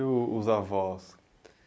E, e, os avós?